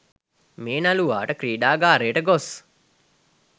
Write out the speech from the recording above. මේ නළුවාට ක්‍රීඩාගාරයට ගොස්